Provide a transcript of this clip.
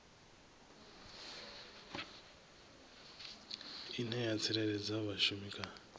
ine ya tsireledza vhashumi kha